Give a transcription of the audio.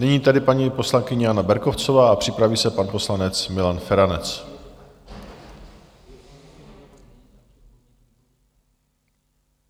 Nyní tedy paní poslankyně Jana Berkovcová a připraví se pan poslanec Milan Feranec.